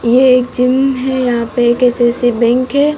यह एक जिम है यहां पे एक बैंक है।